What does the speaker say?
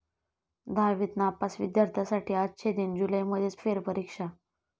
दहावीत नापास विद्यार्थ्यांसाठी 'अच्छे दिन', जुलैमध्येच फेरपरीक्षा